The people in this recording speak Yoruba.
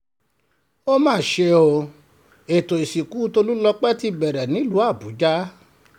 ó mà ṣe o ètò ìsìnkú tólùlọ́pẹ́ ti bẹ̀rẹ̀ nílùú àbújá